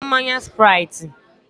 Ị ga-aṅụ mmanya spraiti?